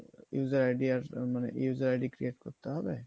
user id মানে user id create করতে হবে